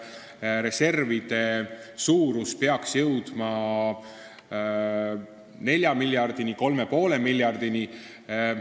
Kas reservide suurus peaks jõudma 4 miljardini või 3,5 miljardini?